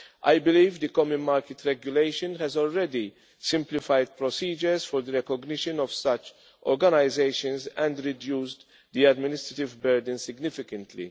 I believe the common market regulation has already simplified procedures for the recognition of such organisations and reduced the administrative burden significantly.